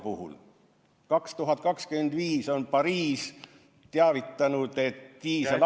Aastal 2025, on Pariis teavitanud, diiselautoga ...